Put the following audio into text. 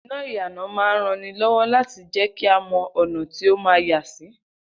Iná ìyànà máa rán ni lọ́wọ́ láti jẹ́kí a mọ́ ọ̀nà tí ó ma yàsí